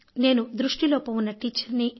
నేను దృష్టి లోపం ఉన్న టీచర్ని